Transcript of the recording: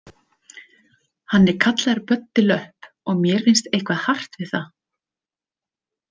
Hann er kallaður Böddi löpp og mér finnst eitthvað hart við það.